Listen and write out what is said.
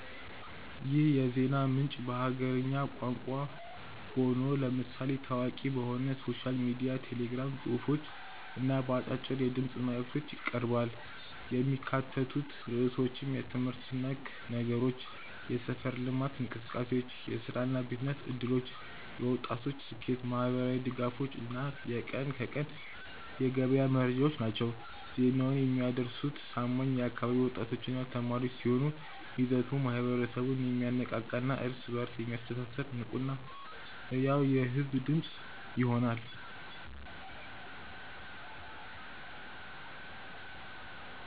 ይህ የዜና ምንጭ በሀገርኛ ቋንቋ ሆኖ፣ ለምሳሌ ታዋቂ በሆነው ሶሻል ሚዲያ ቴሌግራም ጽሑፎች እና በአጫጭር የድምፅ መልዕክቶች ይቀርባል። የሚካተቱት ርዕሶችም የትምህርት ነክ ነገሮች፣ የሰፈር ልማት እንቅሰቃሴዎች፣ የሥራና የቢዝነስ ዕድሎች፣ የወጣቶች ስኬት፣ ማኅበራዊ ድጋፎች እና የቀን ከቀን የገበያ መረጃዎች ናቸው። ዜናውን የሚያደርሱት ታማኝ የአካባቢው ወጣቶችና ተማሪዎች ሲሆኑ፣ ይዘቱ ማኅበረሰቡን የሚያነቃቃና እርስ በእርስ የሚያስተሳስር ንቁና ሕያው የሕዝብ ድምፅ ይሆናል።